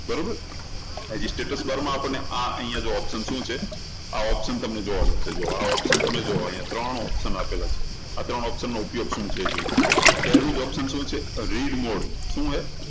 બરોબર પછી status bar માં આ આપણને આ અહિયાં option શું છે આ option તમને જોવા મળશે તો આ option તમે જુઓ અહિયાં ત્રણ option આપેલા હશે આ ત્રણ option નો ઉપયોગ શું છે એ જોઈએ તો પહેલું જ option શું છે read mode શું છે?